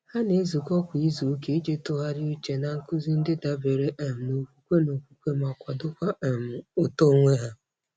Ha na-ezukọ kwa izuụka iji tụgharị uche na nkuzi ndị dabere um n'okwukwe n'okwukwe ma kwadokwa um uto onwe ha.